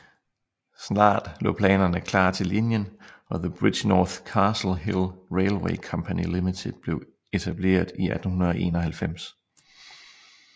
Snart lå planerne klar til linjen og The Bridgnorth Castle Hill Railway Company Ltd blev etableret i 1891